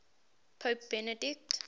pope benedict